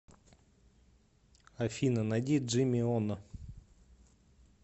афина найди джими оно